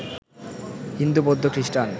হিন্দু বৌদ্ধ খ্রিষ্টান